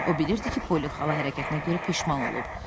O bilirdi ki, Poli xala hərəkətinə görə peşman olub.